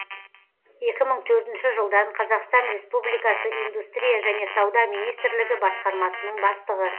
екі мың төртінші жылдан қазақстан республикасы индустрия және сауда министрлігі басқармасының бастығы